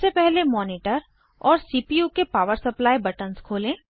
सबसे पहले मॉनिटर और सीपीयू के पावर सप्लाई बटन्स खोलें